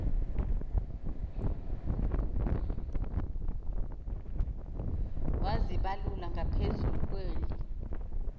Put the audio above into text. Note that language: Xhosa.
wazibalula ngaphezulu kweli